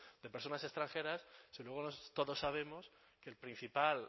de personas extranjeras si luego todos sabemos que el principal